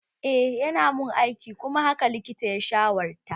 Eh yana mun aiki kuma haka likitan ya shawarta